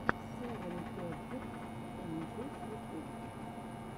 севен перфект энджелс ютуб